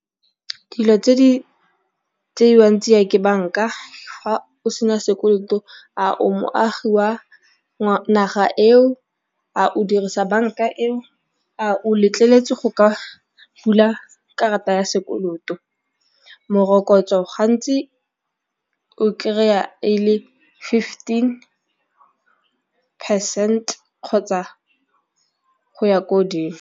Dilo tse di tseuwang tsia ke banka fa o sena sekoloto a o moagi jwa naga eo, a o dirisa banka eo, a o letleletswe go ka bula karata ya sekoloto. Morokotso gantsi o kry-a e le fifteen percent kgotsa go ya ko godimo.